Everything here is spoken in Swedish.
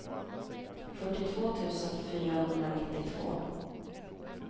fyrtiotvå tusen fyrahundranittiotvå